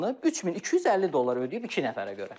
3250 dollar ödəyib iki nəfərə görə.